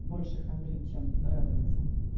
больше хандрить чем радоваться